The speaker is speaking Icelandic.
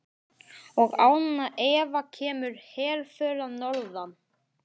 Og án efa kemur herför að norðan.